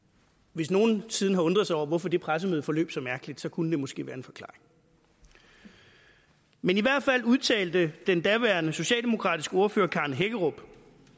hvis nogen siden har undret sig over hvorfor det pressemøde forløb så mærkeligt så kunne det måske være en forklaring men i hvert fald udtalte den daværende socialdemokratiske ordfører karen hækkerup